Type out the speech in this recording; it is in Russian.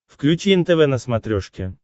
включи нтв на смотрешке